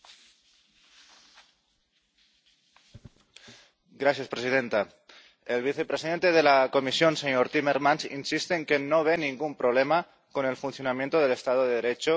Señora presidenta. El vicepresidente de la Comisión, el señor Timmermans, insiste en que no ve ningún problema con el funcionamiento del Estado de Derecho y la separación de poderes en el Estado español.